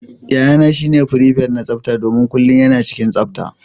Yayana shine prepet na tsafta domin kullum yana cikin tsafta.